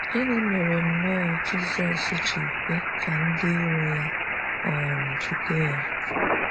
Gịnị mere nnọọ Jizọs ji kwe ka ndị ịro ya um jide ya?